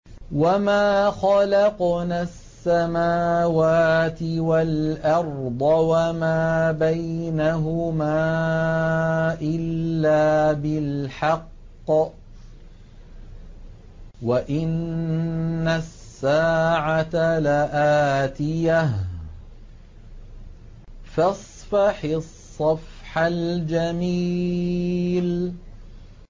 وَمَا خَلَقْنَا السَّمَاوَاتِ وَالْأَرْضَ وَمَا بَيْنَهُمَا إِلَّا بِالْحَقِّ ۗ وَإِنَّ السَّاعَةَ لَآتِيَةٌ ۖ فَاصْفَحِ الصَّفْحَ الْجَمِيلَ